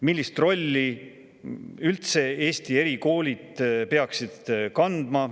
Millist rolli üldse Eesti erikoolid peaksid kandma?